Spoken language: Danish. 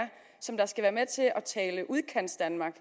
som skal være med til at tale udkantsdanmark